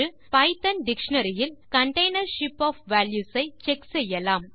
Python dictionary இல் container ship of values ஐ check செய்யலாம்